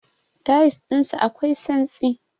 Tayils ɗinsu akwai santsi.